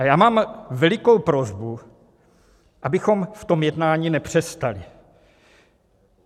A já mám velikou prosbu, abychom v tom jednání nepřestali.